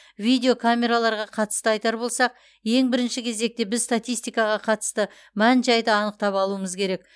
видео камераларға қатысты айтар болсақ ең бірінші кезекте бізге статистикаға қатысты мән жайды анықтап алуымыз керек